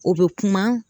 O bɛ kuma